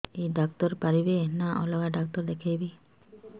ଏଇ ଡ଼ାକ୍ତର ପାରିବେ ନା ଅଲଗା ଡ଼ାକ୍ତର ଦେଖେଇବି